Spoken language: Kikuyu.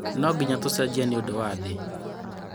Nonginya tũcenjie nĩũndũ wa thĩ.